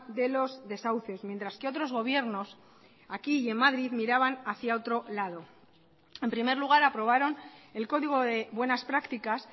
de los desahucios mientras que otros gobiernos aquí y en madrid miraban hacia otro lado en primer lugar aprobaron el código de buenas prácticas